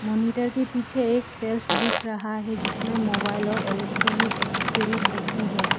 Monitor के पीछे एक सेल्फ दिख रहा है जिसमें मोबाइल और इलेक्ट्रॉनिक एसेसरीज रखी है।